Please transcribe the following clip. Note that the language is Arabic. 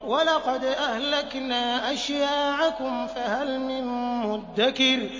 وَلَقَدْ أَهْلَكْنَا أَشْيَاعَكُمْ فَهَلْ مِن مُّدَّكِرٍ